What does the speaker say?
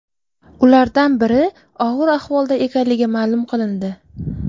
Ulardan biri og‘ir ahvolda ekanligi ma’lum qilindi.